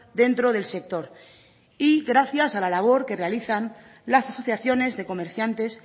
dentro del sector y gracias a la labor que realizan las asociaciones de comerciantes